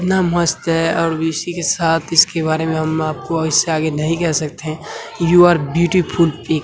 कितना मस्त है और वी.सी. के साथ इसके बारे में हम आपको इससे आगे नहीं कह सकते यु आर ब्यूटीफूल पि --